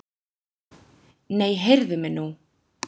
Nei, heyrðu mig nú!